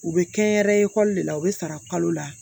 U bɛ kɛyɛrɛ ekɔli de la u bɛ sara kalo la